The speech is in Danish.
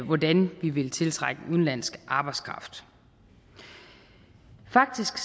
hvordan vi ville tiltrække udenlandsk arbejdskraft faktisk